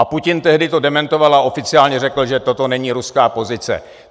A Putin to tehdy dementoval a oficiálně řekl, že toto není ruská pozice.